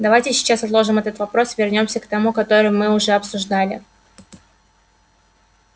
давайте сейчас отложим этот вопрос и вернёмся к тому который мы уже обсуждали